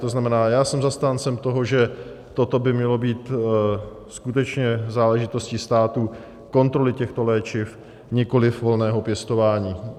To znamená, já jsem zastáncem toho, že toto by mělo být skutečně záležitostí státu, kontroly těchto léčiv, nikoliv volného pěstování.